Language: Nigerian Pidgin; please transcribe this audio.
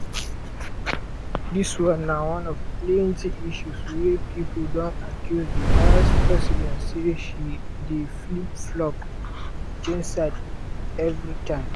dis na one of plenti issues wey pipo don accuse di vice-president say she dey flip-flop (change side evritime).